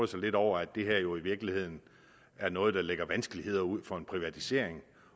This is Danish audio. sig lidt over at det her jo i virkeligheden er noget der lægger vanskeligheder ud for en privatisering